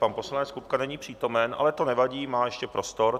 Pan poslanec Kupka není přítomen, ale to nevadí, má ještě prostor.